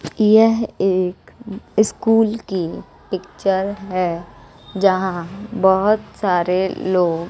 यह एक स्कूल की पिक्चर है जहां बहोत सारे लोग--